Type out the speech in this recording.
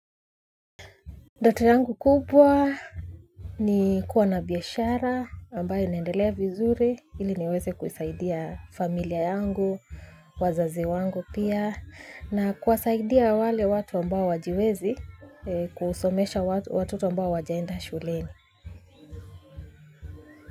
Ndoto yangu kubwa ni kuwa na biashara ambayo inaendelea vizuri ili niweze kusaidia familia yangu, wazazi wangu pia na kuwasaidia wale watu ambao hawajiwezi kusomesha watoto ambao hawajaenda shuleni.